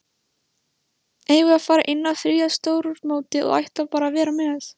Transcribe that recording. Eigum við að fara inn á þriðja stórmótið og ætla bara að vera með?